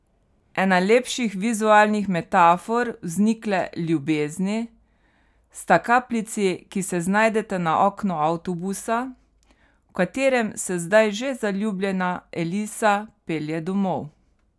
Ena lepših vizualnih metafor vznikle ljubezni sta kapljici, ki se znajdeta na oknu avtobusa, v katerem se zdaj že zaljubljena Elisa pelje domov.